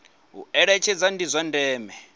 u eletshedza ndi zwa ndeme